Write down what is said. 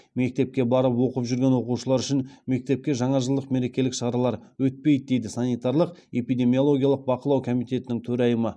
мектепке барып оқып жүрген оқушылар үшін мектепте жаңажылдық мерекелік шаралар өтпейді дейді санитарлық эпидемиологиялық бақылау комитетінің төрайымы